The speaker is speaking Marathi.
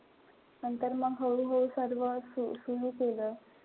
नंतर मग हळूहळू सर्व सुरु केलं.